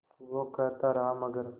वो कहता रहा मगर